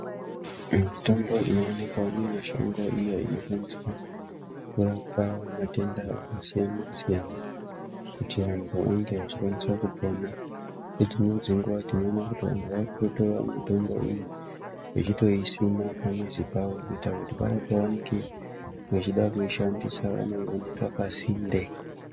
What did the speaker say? Mitombo inoonekwawo mumashango iyo inoshandiswa kurapa matenda akasiyana-siyana kuti vantu vange vachikwanisa kupona. Ngedzimweni dzenguwa tinoona kuti vantu vakutotora mitombo iyi ichitoisima pamuzi pavo kuti paya pavanenge vechida kuishandisa vanoionera pasinde.